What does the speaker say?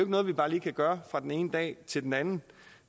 noget vi bare lige kan gøre fra den ene dag til den anden